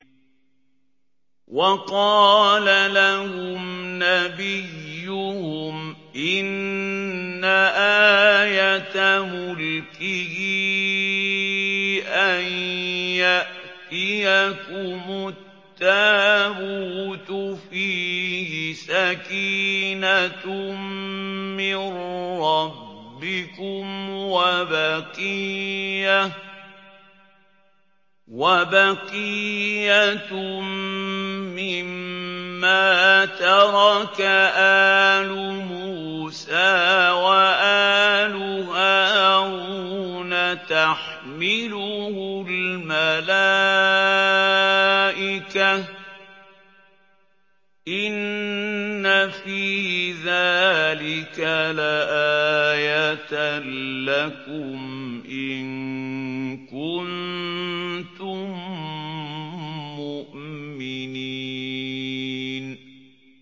وَقَالَ لَهُمْ نَبِيُّهُمْ إِنَّ آيَةَ مُلْكِهِ أَن يَأْتِيَكُمُ التَّابُوتُ فِيهِ سَكِينَةٌ مِّن رَّبِّكُمْ وَبَقِيَّةٌ مِّمَّا تَرَكَ آلُ مُوسَىٰ وَآلُ هَارُونَ تَحْمِلُهُ الْمَلَائِكَةُ ۚ إِنَّ فِي ذَٰلِكَ لَآيَةً لَّكُمْ إِن كُنتُم مُّؤْمِنِينَ